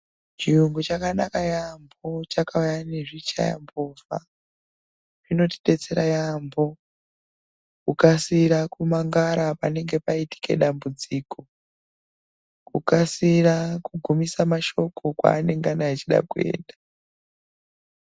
Chiyungu chakanaka yaamho, chakauya nezvichayambovha zvinotidetsera yaambo, kukasira kumangara panenge paitika dambudziko, kukasira kugunisa. mashoko kwaanengana achida kuenda.